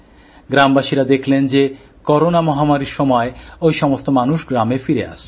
গ্রামবাসীরা দেখলেন যে করোনা মহামারির সময় ঐ সমস্ত মানুষ গ্রামে ফিরে আসছেন